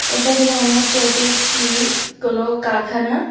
এটা দেখে মনে হচ্ছে এটি একটি কোনো কারখানা।